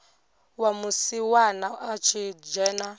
wa musiwana a tshi dzhena